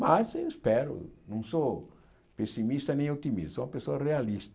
Mas eu espero, não sou pessimista nem otimista, sou uma pessoa realista.